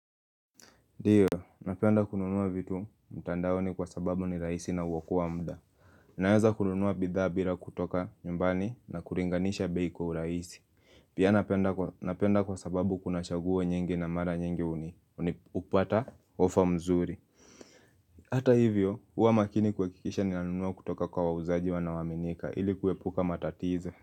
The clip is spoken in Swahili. Ndiyo, napenda kununua vitu mtandaoni kwa sababu ni rahisi na huokoa muda. Naweza kununua bidhaa bila kutoka nyumbani na kulinganisha bei kwa urahisi Pia napenda kwa sababu kuna chaguo nyingi na mara nyingi hupata offer mzuri. Hata hivyo, huwa makini kuhakikisha ninanunua kutoka kwa wauzaji wanaoaminika ili kuepuka matatizo.